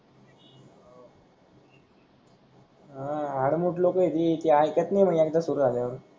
हा आडमुट लोक आहे ते तेऐकत नाही म्हणे एकदा सुरू झाल्या वर